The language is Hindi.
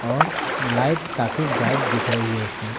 और लाइट काफी ब्राइट दिख रही है इसमें।